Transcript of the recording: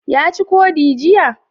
Ya ci ƙodi jiya?